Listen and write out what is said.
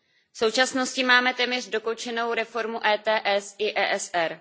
V současnosti máme téměř dokončenou reformu ETS i ESR.